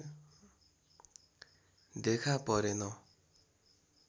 देखा परेन